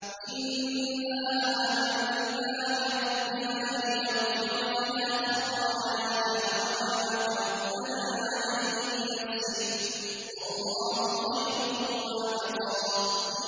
إِنَّا آمَنَّا بِرَبِّنَا لِيَغْفِرَ لَنَا خَطَايَانَا وَمَا أَكْرَهْتَنَا عَلَيْهِ مِنَ السِّحْرِ ۗ وَاللَّهُ خَيْرٌ وَأَبْقَىٰ